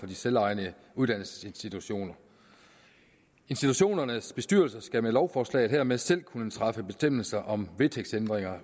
de selvejende uddannelsesinstitutioner institutionernes bestyrelser skal med lovforslaget hermed selv kunne træffe bestemmelser om vedtægtsændringer